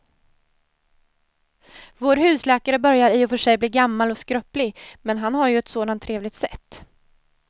Vår husläkare börjar i och för sig bli gammal och skröplig, men han har ju ett sådant trevligt sätt!